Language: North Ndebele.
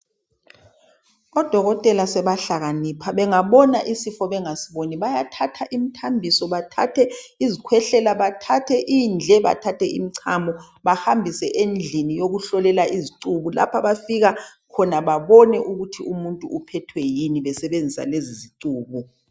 Odokotela sebahlakanipha. Bangabonaisifo bengawuboni. Bayathatha, imithambiso, bathathe izikhwehlela., bathathe indle, Bathathe imithambiso . Bahambise endlini yokuhlolelwa khona izicubu. Bafike babone ukuthi umuntu uphethwe yini. Besebenzisa lezi zicubu.